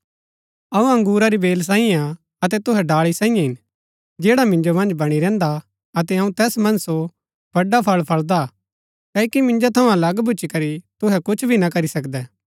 अऊँ अंगुरा री बेल सांईये हा अतै तुहै डाळी सांईये हिन जैडा मिन्जो मन्ज बणी रैहन्दा अतै अऊँ तैस मन्ज सो बडा फळ फळदा क्ओकि मिन्जो थऊँ अलग भूच्ची करी तुहै कुछ भी ना करी सकदै